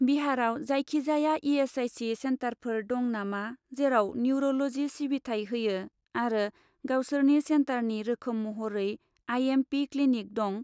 बिहारआव जायखिजाया इ.एस.आइ.सि. सेन्टारफोर दं नामा जेराव निउर'ल'जि सिबिथाय होयो आरो गावसोरनि सेन्टारनि रोखोम महरै आइ.एम.पि. क्लिनिक दं?